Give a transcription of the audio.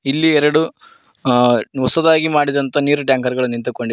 ಇಲ್ಲಿ ಎರಡು ಹೊಸದಾಗಿ ಮಾಡಿದಂತಹ ನೀರಿನ ಟ್ಯಾಂಕರ್ ಗಳು ನಿಂತುಕೊಂಡಿದೆ.